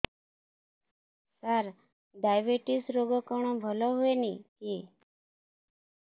ସାର diabetes ରୋଗ କଣ ଭଲ ହୁଏନି କି